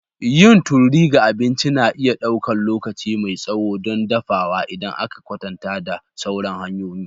Yin tururi ga abinci na iya ɗaukar lokaci mai tsawo don dafawa idan aka kwatanta da sauran hanyoyin.